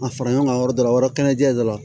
A fara ɲɔgɔn kan yɔrɔ dɔ la o yɔrɔ kɛnɛ dɔ la